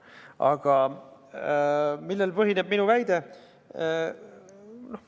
Aga millel põhineb minu väide?